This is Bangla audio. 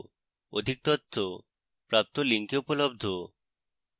অধিক তথ্য প্রদত্ত link উপলব্ধ